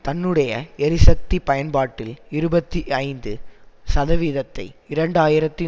தன்னுடைய எரிசக்தி பயன்பாட்டில் இருபத்தி ஐந்து சதவிதத்தை இரண்டு ஆயிரத்தி